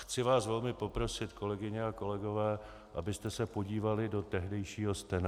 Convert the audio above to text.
Chci vás velmi poprosit, kolegyně a kolegové, abyste se podívali do tehdejšího stena.